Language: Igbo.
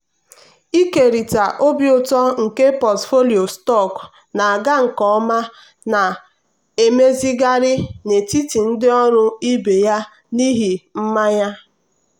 ịkerịta obi ụtọ nke pọtụfoliyo stọkụ na-aga nke ọma na-emezigharị n'etiti ndị ọrụ ibe ya n'ihi mmanya.